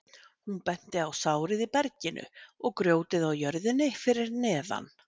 Hún benti á sárið í berginu og grjótið á jörðinni fyrir neðan.